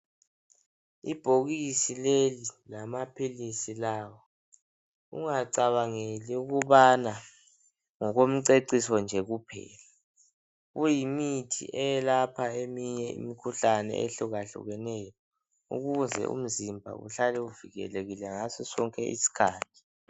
Ibhokisi leli lamaphilisi lawa, ungacabangeli ukubana ngokomceciso nje kuphela. Kuyimithi eyelapha eminye imkhuhlane ehlukahlukeneyo. Ukuze umzimba uhlale uvikelekile ngasosonke isikhathi.